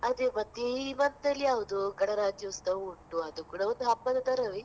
ಅದೇ ಮತ್ತೆ ಈ month ಅಲ್ಲಿ ಯಾವ್ದು ಗಣರಾಜ್ಯೋತ್ಸವ ಉಂಟು ಅದು ಕೂಡ ಒಂದ್ ಹಬ್ಬದ ತರವೇ.